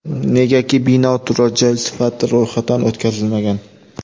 Negaki bino turar joy sifatida ro‘yxatdan o‘tkazilmagan.